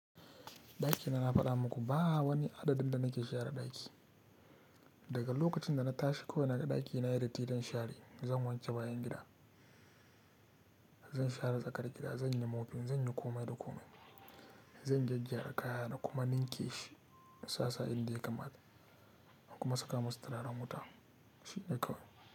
Ɗakin da na faɗa muku ba wani adadin da nake share ɗaki. Daga lokacin da na tashi kawai na ga ɗakina ya dati zan share. Zan wanke bayan gida, zan share tsakar gida, zan yi mopping, zan yi komai da komai. Zan gyaggara kayana kuma ninke shi insassa inda ya kamata kuma saka masa turaren wuta shi kawai.